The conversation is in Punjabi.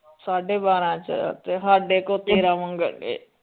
ਸਾਢੇ ਬਾਰਾਂ ਚ ਤੇ ਸਾਡੇ ਕੋਲ ਤੇਰਾਂ ਮੰਗਣਡੇ।